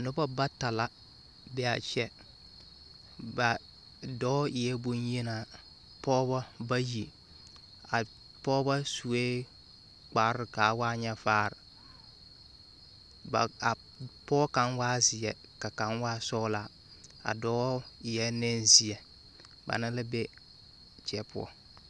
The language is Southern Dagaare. Nobɔ bata la be'a kyɛ, ba dɔɔ eɛɛ bonyenaa, pɔgebɔ bayi. A pɔgebɔ sue kparre k'a waa nyɛ vaar. Ba a pɔɔ kaŋ waa zeɛ ka kaŋ waa sɔɔlaa. A dɔɔ eɛɛ nenzeɛ, bana be a teɛ poɔ.